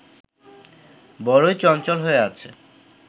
বড়োই চঞ্চল হয়ে আছে